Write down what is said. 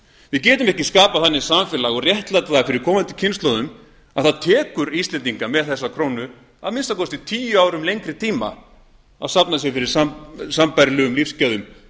við getum ekki skapað þannig samfélag og réttlætt það fyrir komandi kynslóðum að það tekur íslendinga með þessa krónu að minnsta kosti tíu árum lengri tíma að safna sér fyrir sambærilegum lífsgæðum